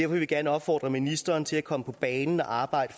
vil vi gerne opfordre ministeren til at komme på banen og arbejde